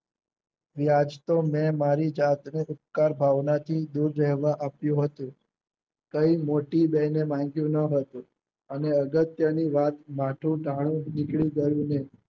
વ્યાજ તો મેં મારી જાત ને ઉપકાર ભાવનાથી આપ્યું હતું. કઈ મોટી બેને માગ્યું ન હતું. અને અગત્યની વાત માથું ટાણું નીકળી ગયું ને